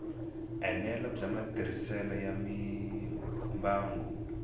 enela bya matirhiselo ya mimbangu